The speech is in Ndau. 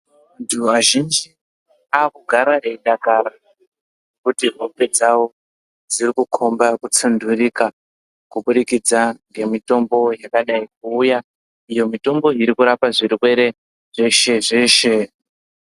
Anthu azhinji akugara eidakara kuti hope dzawo dziri kukhomba kusunturika kuburikidza ngemitombo yakadai kuuya iyo mitombo iri kurapa zvirwere zveshe-zveshe.